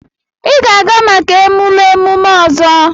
Ị ga-aga maka emume emume ọzọ!